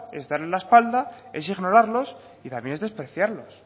es darle la espalda es ignorarlos y también es despreciarlos